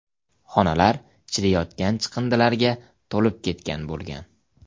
Xonalar chiriyotgan chiqindilarga to‘lib ketgan bo‘lgan.